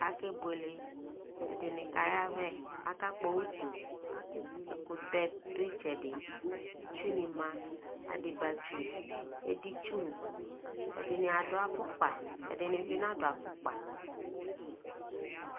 akɛ bʋɛlɛ, ɛdini kayavɛ, aka kpɔ ʋtʋ, ɛkʋtɛ dʋ itsɛdi itsʋ ni ma adiba tsʋ, ɛdini tsʋ, ɛdini adʋ aƒʋkpa, ɛdini bi nadʋ aƒʋkpa